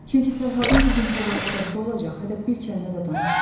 Çünki Fərhadın bu gün-sabah üç yaşı olacaq, hələ bir kəlmə də danışmayıb.